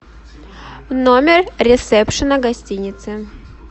номер ресепшена гостиницы